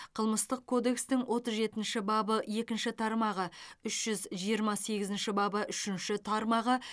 қылмыстық кодекстің отыз жетінші бабы екінші тармағы үш жүз жиырма сегізінші бабы үшінші тармағы